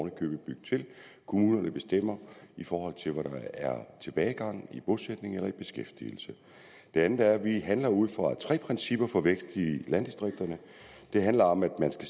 i købet bygge til kommunerne bestemmer i forhold til hvor der er tilbagegang i bosætning eller beskæftigelse det andet er at vi handler ud fra tre principper for vækst i landdistrikterne det handler om at man